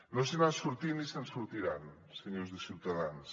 no se n’han sortit ni se’n sortiran senyors de ciutadans